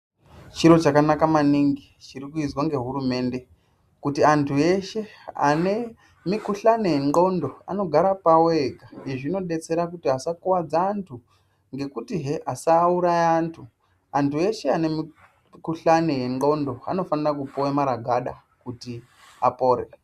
Chiro chakanaka maningi chirikuizwa ngehurumende kuti antu eshe anemikuhlani wendxondo anogara pawo ega. Izvi zvinodetsera kuti asakuwadza antu ngekutihe asauraya antu. Antu eshe anemikuhlani yendxondo anofane kupuwa maragada kuti apore.